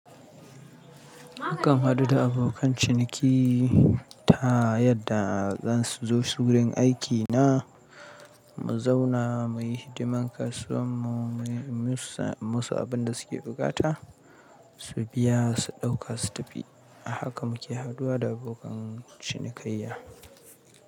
Mukan haɗu da abokan ciniki ta yadda za su zo wurin aiki na, mu zauna mu yi hidiman kasuwanmu, mu yi musu abin da suke buƙata, su biya, su ɗauka su tafi. Haka muke haduwa da abokan cinikayya.